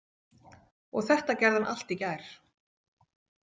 Og þetta gerði hann allt í gær.